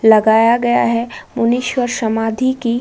लगाया गया है। मुनि स्व समाधि की --